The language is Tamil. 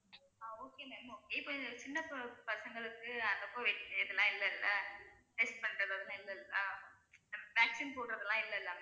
ஆஹ் okay ma'am okay இப்ப சின்ன ப~ பசங்களுக்கு இதெல்லாம் இல்லல்ல test பண்றதுல வந்து இல்லல்ல vaccine போடுறதெல்லாம் இல்லல்ல